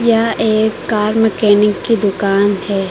यह एक car mechanic की दुकान है।